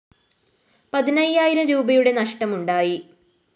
പതിനയ്യായിരം രൂപയുടെ നഷ്ടം ഉണ്ടായി